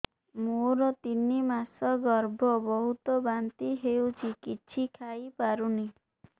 ମୋର ତିନି ମାସ ଗର୍ଭ ବହୁତ ବାନ୍ତି ହେଉଛି କିଛି ଖାଇ ପାରୁନି